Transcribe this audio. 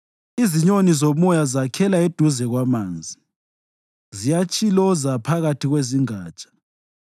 Izinyoni zomoya zakhela eduze kwamanzi; ziyatshiloza phakathi kwezingatsha.